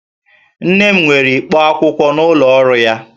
Nne m nwere ikpo akwụkwọ n'ụlọ ọrụ ya